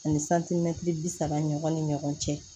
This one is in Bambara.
Ani santimɛtiri bi saba ɲɔgɔn ni ɲɔgɔn cɛ